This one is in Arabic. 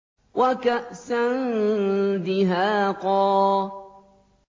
وَكَأْسًا دِهَاقًا